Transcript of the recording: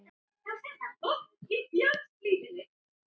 Já, hún hress sagði Linja.